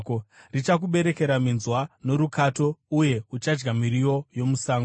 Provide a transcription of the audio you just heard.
Richakuberekera minzwa norukato, uye uchadya miriwo yomusango.